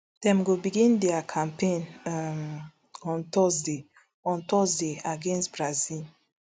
dem go begin dia campaign um on thursday on thursday against brazil